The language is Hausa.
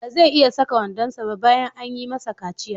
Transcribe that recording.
Ba zai iya saka wandonsa ba bayan an yi masa kaciya.